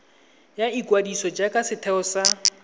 ya ikwadiso jaaka setheo sa